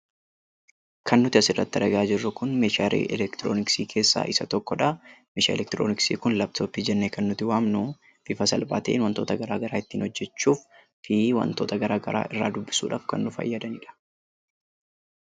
Kan nuti asirratti argaa jirru kun meeshaalee elektirooniksi keessaa isa tokkodha. Meeshaan elektirooniksi kun "laptop" jennee kan nuti waamnu, Bifa salphaa ta'een wantoota gara garaa ittiin hojjachuufi wantoota gara garaa irraa dubbisuudhaaf kan nu fayyadanidha.